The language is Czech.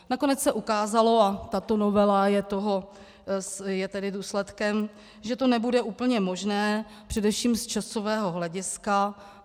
Nakonec se ukázalo, a tato novela je toho důsledkem, že to nebude úplně možné především z časového hlediska.